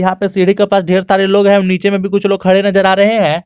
यहां पे सीढ़ी के पास ढेर सारे लोग हैं नीचे में भी कुछ लोग खड़े नजर आ रहे हैं।